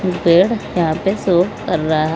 पेड़ यहां पे शो कर रहा है।